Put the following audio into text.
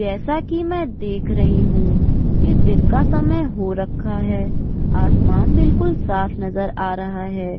जैसा कि मैं देख रही हूं कि दिन का समय हो रखा है आसमान बिल्कुल साफ नजर आ रहा है।